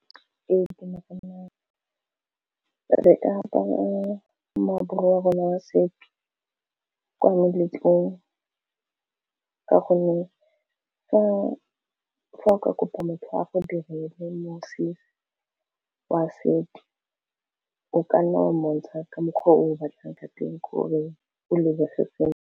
Itemogelang re ka apara moaparo wa rona wa setso kwa meletlong ka gonne fa o ka kopa motho a go direle mosese wa setso o ka nna wa mo bontsha ka mokgwa o o batlang ka teng gore o lebege sentle.